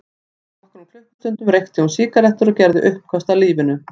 Fyrir nokkrum klukkustundum reykti hún sígarettur og gerði uppköst að lífinu.